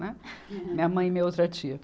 Né. Minha mãe e minha outra tia.